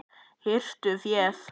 Hirtu féð!